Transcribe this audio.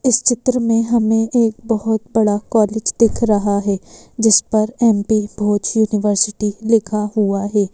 इस चित्र में हमें एक बोहोत बड़ा कॉलेज दिख रहा है जिस पर एम_पी भोज यूनिवर्सिटी लिखा हुआ है।